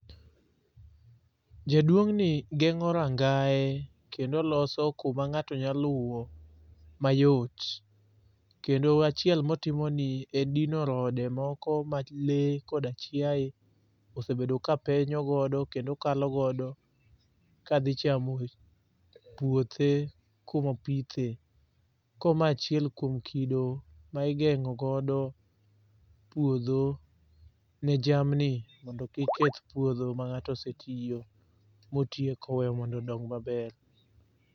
Jaduong' ni geng'o rangae kendo loso kuma ng'ato nyaluwo mayot. Kendo achiel motimoni en dino rode moko ma le koda chiaye osebedo kapenyogodo kendo kalogodo kadhi chamo puothe kumopithe. Ko ma achiel kuom kido ma igeng'o godo puodho ne jamni mondo kik keth puodho ma ng'ato osetiyo motiye koweyo mondo odong' maber.